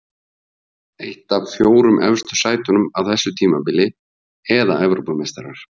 Eitt af fjórum efstu sætunum á þessu tímabili eða Evrópumeistarar?